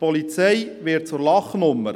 Die Polizei wird zur Lachnummer.